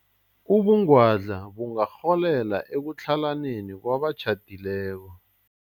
Ubungwadla bungarholela ekutlhalaneni kwabatjhadileko.